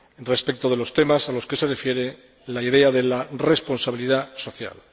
respecto de los temas a los que se refiere la idea de la responsabilidad social.